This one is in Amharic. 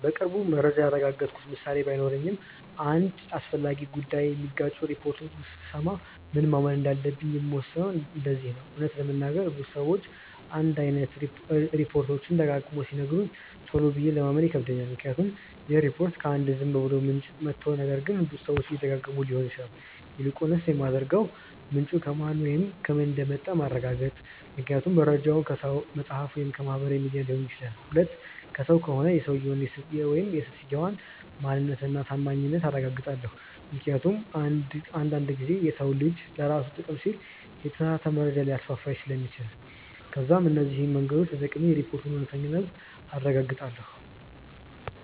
በቅርቡ መረጃ ያረጋገጥኩበት ምሳሌ ባይኖረኝም አንድ አስፈላጊ ጉዳይ የሚጋጩ ሪፖርቶችን ስሰማ ምን ማመን እንዳለብኝ የምወስነው እንደዚህ ነው :- እውነት ለመናገር ብዙ ሰዎች አንድ አይነት ሪፖችት ደጋግመው ሲነግሩኝ ቶሎ ብዬ ለማመን ይከብደኛል ምክንያቱም ይህ ሪፖርት ከ አንድ ዝም ብሎ ምንጭ መቶ ነገር ግን ብዙ ሰዎች እየደጋገመው ሊሆን ይችላል። ይልቁንስ የማደርገው 1. ምንጩ ከማን ወይም ከምን እንደመጣ ማረጋገጥ ምክንያቱም መርጃው ከሰው፣ መፅሐፍ ወይም ከማህበራዊ ሚዲያ ነው ሊሆን ይችላል። 2. ከሰው ከሆነ የሰውየውን/ የሰትየዋን ማንነት እና ታማኝነት አረጋግጣለው ምክንያቱም አንድ አንድ ጊዜ የሰው ልጅ ለራሱ ጥቅም ሲል የተሳሳተ መረጃ ሊያስፋፋ ስለሚችል። ከዛም እነዚህ መንገዶች ተጠቅሜ የሪፖርቱን እውነተኛነት አረጋግጣለው።